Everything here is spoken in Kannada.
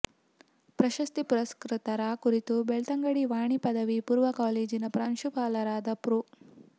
ಪ್ರಶಸ್ತಿ ಪುರಸ್ಕೃತರ ಕುರಿತು ಬೆಳ್ತಂಗಡಿ ವಾಣಿ ಪದವಿ ಪೂರ್ವ ಕಾಲೇಜಿನ ಪ್ರಾಂಶುಪಾಲರಾದ ಪ್ರೊ